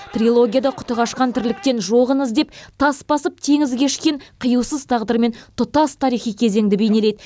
трилогияда құты қашқан тірліктен жоғын іздеп тас басып теңіз кешкен қиюсыз тағдырмен тұтас тарихи кезеңді бейнелейді